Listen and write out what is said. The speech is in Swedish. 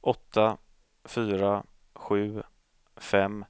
åtta fyra sju fem